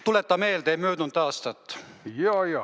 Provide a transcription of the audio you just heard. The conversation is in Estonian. Tuleta meelde möödunud aastat.